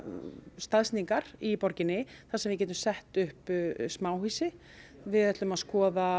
staðsetningar í borginni þar sem við getum sett upp smáhýsi við ætlum að skoða